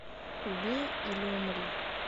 убей или умри